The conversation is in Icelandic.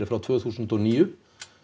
frá tvö þúsund og níu